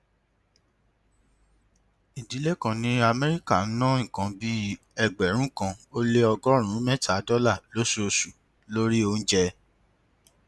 ìdílé kan ní amẹríkà ń ná nǹkan bí ẹgbẹrún kan ó lé ọgọrùnún mẹta dọlà lóṣooṣù lórí oúnjẹ